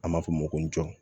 An b'a fɔ o ma ko jɔ